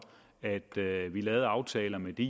at lave lave aftaler med de